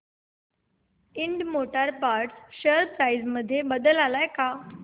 Ind motor parts share price मध्ये बदल आलाय का